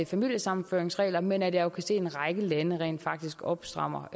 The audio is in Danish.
familiesammenføringsregler men at jeg kan se at en række lande rent faktisk opstrammer